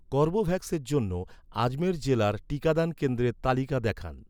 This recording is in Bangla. কর্বেভ্যাক্সের জন্য, আজমের জেলার টিকাদান কেন্দ্রের তালিকা দেখান